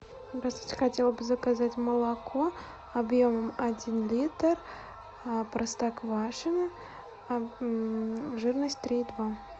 здравствуйте хотела бы заказать молоко объемом один литр простоквашино жирность три и два